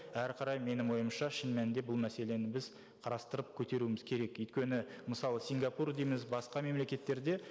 әрі қарай менің ойымша шын мәнінде бұл мәселені біз қарастырып көтеруіміз керек өйткені мысалы сингапур дейміз басқа мемлекеттерде